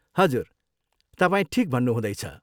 हजुर तपाईँ ठिक भन्नुहुँदैछ।